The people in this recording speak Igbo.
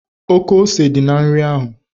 Oké ose dị na nri ahụ